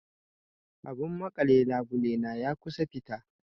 Abun maƙale labule na ya kusan fita.